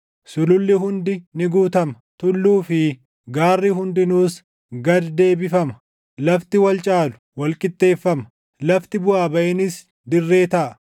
Sululli hundi ni guutama; tulluu fi gaarri hundinuus gad deebifama; lafti wal caalu, wal qixxeeffama; lafti buʼaa baʼiinis dirree taʼa.